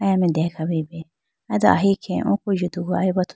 aya mai deya khawuyi bi aye do ahi khege oko yudugu aya bi athu.